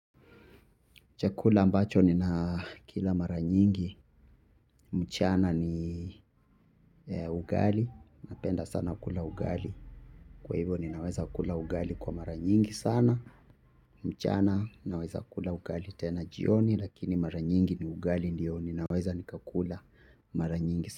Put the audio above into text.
Chakula ambacho ninakila mara nyingi, mchana ni ugali, napenda sana kula ugali, kwa hivyo ninaweza kula ugali kwa mara nyingi sana, mchana ninaweza kula ugali tena jioni, lakini mara nyingi ni ugali ndiyo ninaweza nikakula mara nyingi sana.